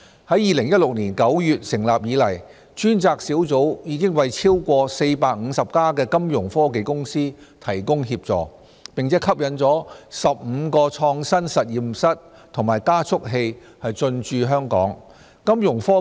自2016年9月成立以來，專責小組已為超過450家金融科技公司提供協助，並吸引了15個創新實驗室和加速器進駐香港。